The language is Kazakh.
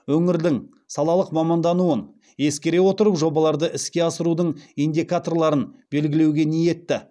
өңірдің салалық мамандануын ескере отырып жобаларды іске асырудың индикаторларын белгілеуге ниетті